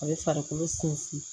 A bɛ farikolo sinsin